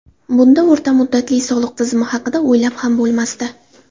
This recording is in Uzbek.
Bunda o‘rta muddatli soliq tizimi haqida o‘ylab ham bo‘lmasdi.